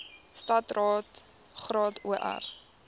standaard graad or